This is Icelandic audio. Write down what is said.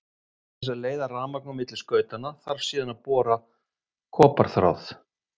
Til þess að leiða rafmagn á milli skautanna þarf síðan bara koparþráð.